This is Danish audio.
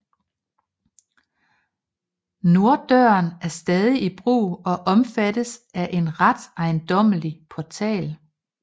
Norddøren er stadig i brug og omfattes af en ret ejendommelig portal